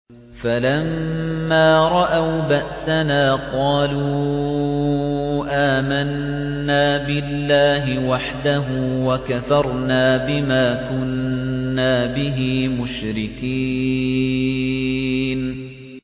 فَلَمَّا رَأَوْا بَأْسَنَا قَالُوا آمَنَّا بِاللَّهِ وَحْدَهُ وَكَفَرْنَا بِمَا كُنَّا بِهِ مُشْرِكِينَ